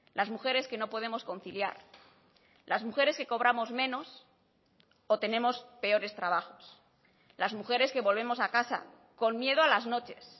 las mujeres que no podemos conciliar las mujeres que cobramos menos o tenemos peores trabajos las mujeres que volvemos a casa con miedo a las noches